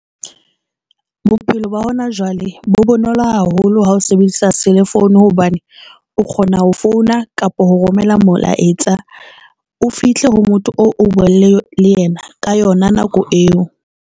Bophelo ba hona jwale bo bonolo haholo ha o sebedisa selefoune hobane o kgona ho founa kapa ho romela molaetsa o fihle ho motho, o o le yena ka yona nako eo.